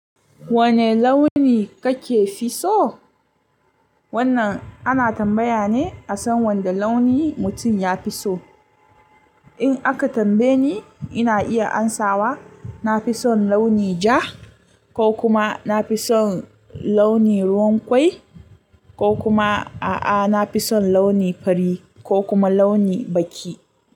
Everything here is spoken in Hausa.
Wane launi kake fi so? Wannan ana tambaya ne a san wanda launi mutum ya fi so. In aka tambaye ni, ina iya amsawa nafi son launi ja, ko kuma nafi son launi ruwan kwai, ko kuma a'a nafi son launi fari ko kuma launi baki.